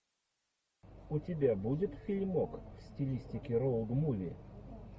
у тебя будет фильмок в стилистике роуд муви